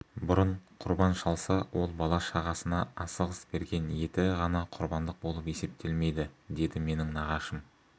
бұрын құрбан шалса ол бала-шағасына асығыс берген еті ғана құрбандық болып есептелмейді деді менің нағашым